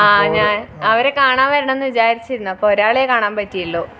ആഹ് ഞ അവരെ കാണാൻ വരണം എന്ന് വിചാരിച്ചിരുന്നു അപ്പൊ ഒരാളെ കാണാൻ പറ്റിയുള്ളൂ